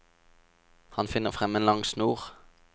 Han finner frem en lang snor.